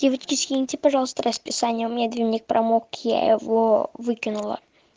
девочки скиньте пожалуйста расписание у меня дневник промок я его выкинула